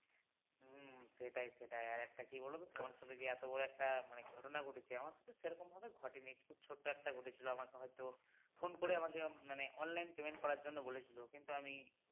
হুম সেটাই সেটাই আর একটা কী বলতো তোমার সাথে যে এতো বড় একটা ঘটনা ঘটে গেছে আমার সাথে সেরকম ভাবে ঘটেনি খুব ছোটো একটা ঘটেছিল আমাকে হয়তো phone করেআমাকে মানে online payment করার জন্য বলেছিল কিন্তু আমি